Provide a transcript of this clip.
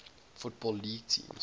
football league teams